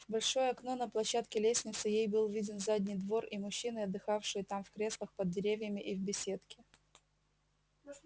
в большое окно на площадке лестницы ей был виден задний двор и мужчины отдыхавшие там в креслах под деревьями и в беседке